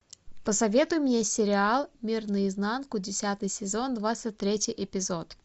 посоветуй мне сериал мир наизнанку десятый сезон двадцать третий эпизод